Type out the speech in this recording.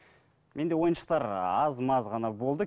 менде ойыншықтар аз маз ғана болды